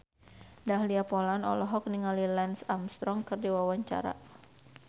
Dahlia Poland olohok ningali Lance Armstrong keur diwawancara